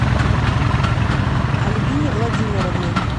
альбине владимировне